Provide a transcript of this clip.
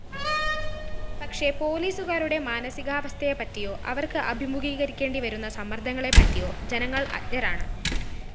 പക്ഷേ പോലീസുകാരുടെ മാനസികാവസ്ഥയെപ്പറ്റിയോ അവര്‍ക്ക് അഭിമുഖീകരിക്കേണ്ടിവരുന്ന സമ്മര്‍ദ്ദങ്ങളെപ്പറ്റിയോ ജനങ്ങള്‍ അജ്ഞരാണ്